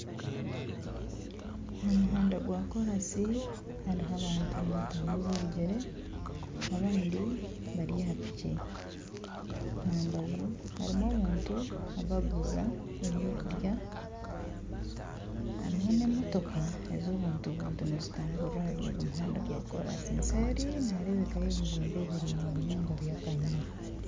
Aha muhanda gwa korasi hariho abantu nibatambuza ebigyere abandi bari aha piki. Ahambaju harimu abantu abarikuguza ebyokurya. Harimu n'emotoka eza abantu buntu nizitamburira ahari ogu muhanda gwa koraasi. Eseri niharebekayo ebizimbe bihango munonga bya kanyina.